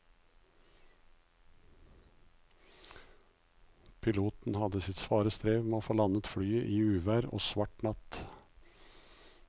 Piloten hadde sitt svare strev med å få landet flyet i uvær og svart natt.